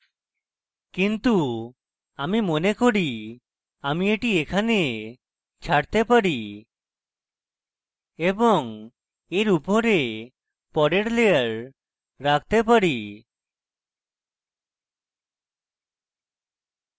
কিন্তু আমি মনে করি আমি এটি এখানে ছাড়তে পারি এবং এর উপরে পরের layer রাখতে পারি